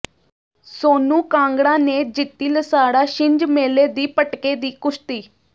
ਸੋਨੂੰ ਕਾਂਗੜਾ ਨੇ ਜਿੱਤੀ ਲਸਾੜਾ ਛਿੰਝ ਮੇਲੇ ਦੀ ਪਟਕੇ ਦੀ ਕੁਸ਼ਤੀ